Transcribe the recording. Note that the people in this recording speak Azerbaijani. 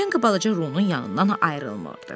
Kinqa balaca Runun yanından ayrılmırdı.